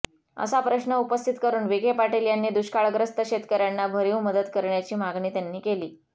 असा प्रश्न उपस्थित करून विखे पाटील यांनी दुष्काळग्रस्त शेतकऱ्यांना भरीव मदत करण्याची मागणी त्यांनी केली